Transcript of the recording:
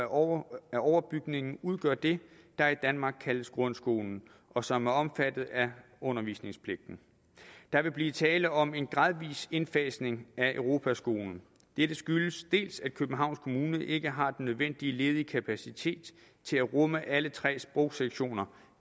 år af overbygningen udgør det der i danmark kaldes grundskolen og som er omfattet af undervisningspligten der vil blive tale om en gradvis indfasning af europaskolen dette skyldes dels at københavns kommune ikke har den nødvendige ledige kapacitet til at rumme alle tre sprogsektioner